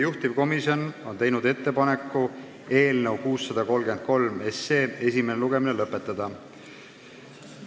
Juhtivkomisjon on teinud ettepaneku eelnõu 633 esimene lugemine lõpetada.